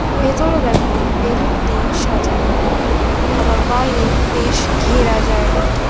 ভেতরে দেখো বেলুন দিয়ে সাজানো আবার বাইরেও বেশ ঘেরা জায়গাটি